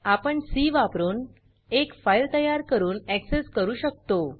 आपण सी वापरुन एक फाइल तयार करून ऍक्सेस करू शकतो